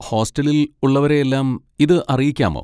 ഹോസ്റ്റലിൽ ഉള്ളവരെയെല്ലാം ഇത് അറിയിക്കാമോ?